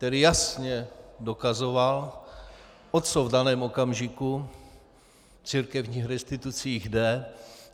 Ten jasně dokazoval, o co v daném okamžiku v církevních restitucích jde.